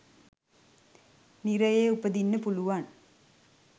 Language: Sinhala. නිරයේ උපදින්න පුළුවන්.